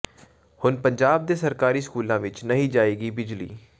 ਹੁਣ ਪੰਜਾਬ ਦੇ ਸਰਕਾਰੀ ਸਕੂਲਾਂ ਵਿਚ ਨਹੀਂ ਜਾਏਗੀ ਬਿਜਲੀ